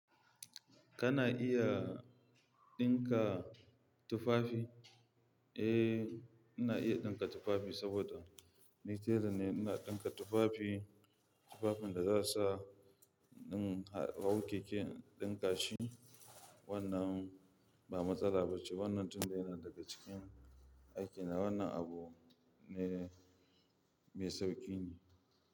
Kana iya ɗinka tufafi? Eh, ina iya ɗinka tufafi saboda ni tela ne. Ina ɗinka tufafi, tufafin da za su sa, ɗin hau keke ɗin kashi wannan ba matsala ba ce. Wannan tun da yana daga cikin aikina, wannan abu ne mai sauƙi ne.